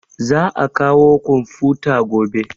Za a kawo komfuta gobe